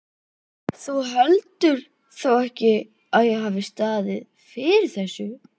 Þú heldur þó ekki, að ég hafi staðið fyrir þessu?